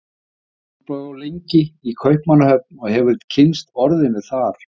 Jón bjó lengi í Kaupmannahöfn og hefur kynnst orðinu þar.